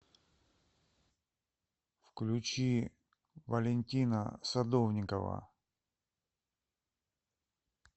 включи валентина садовникова